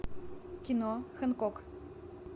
кино хэнкок